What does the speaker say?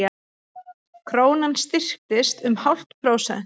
Krónan styrktist um hálft prósent